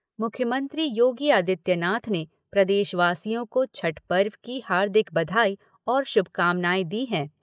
मुख्यमंत्री योगी आदित्यनाथ ने प्रदेशवासियों को छठ पर्व की हार्दिक बधाई और शुभकामनाएँ दी हैं।